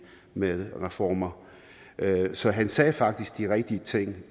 med reformer så han sagde faktisk de rigtige ting